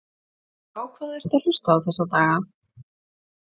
og á hvað ertu að hlusta þessa daga?